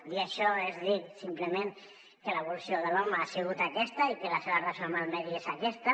dir això és dir simplement que l’evolució de l’home ha sigut aquesta i que la seva relació amb el medi és aquesta